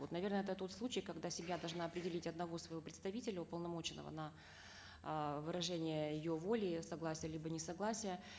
вот наверно это тот случай когда семья должна определить одного своего представителя уполномоченного на э выражение ее воли согласия либо несогласия